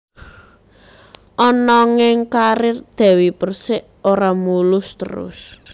Ananging karir Dewi Persik ora mulus terus